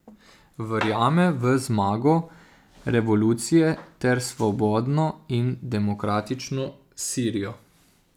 Verjame v zmago revolucije ter svobodno in demokratično Sirijo.